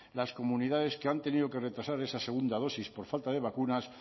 las comunidades que han tenido que retrasar esa segunda dosis por falta de vacunas